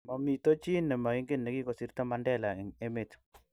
mamito chi ne maingen ne kikosirto Mandela eng' emet